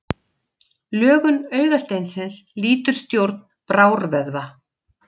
Lögun augasteinsins lýtur stjórn brárvöðva.